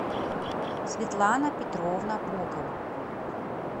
светлана петровна бокова